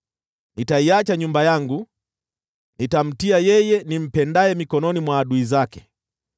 “Nitaiacha nyumba yangu, nitupe urithi wangu; nitamtia yeye nimpendaye mikononi mwa adui zake.